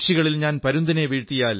ലക്ഷങ്ങളോടു ഞാൻ ഒറ്റയ്ക്കു പൊരുതിയാൽ